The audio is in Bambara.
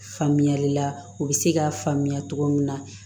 Faamuyali la u bɛ se k'a faamuya cogo min na